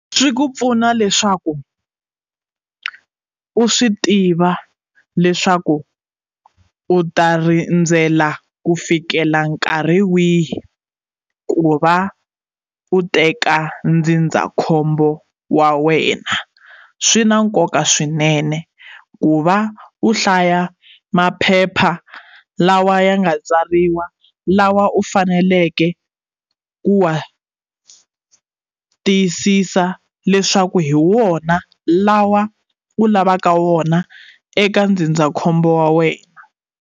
Swi ku pfuna leswaku u swi tiva leswaku u ta rindzela ku fikela nkarhi wihi ku va u teka ndzindzakhombo wa wena swi na nkoka swinene ku va u hlaya maphepha lawa ya nga tsariwa lawa u faneleke ku wa tiyisisa leswaku hi wona lawa u lavaka wona eka ndzindzakhombo wa wena.